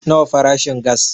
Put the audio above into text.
Nawa farashin gass